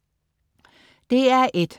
DR1: